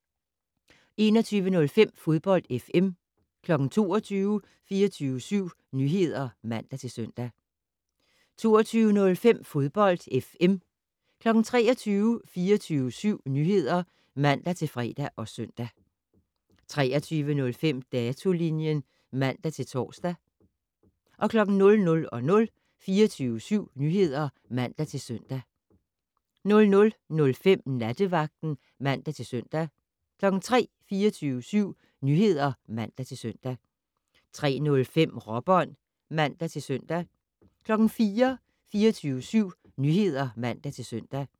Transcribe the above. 21:05: Fodbold FM 22:00: 24syv Nyheder (man-søn) 22:05: Fodbold FM 23:00: 24syv Nyheder (man-fre og søn) 23:05: Datolinjen (man-tor) 00:00: 24syv Nyheder (man-søn) 00:05: Nattevagten (man-søn) 03:00: 24syv Nyheder (man-søn) 03:05: Råbånd (man-søn) 04:00: 24syv Nyheder (man-søn)